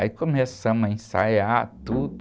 Aí começamos a ensaiar tudo.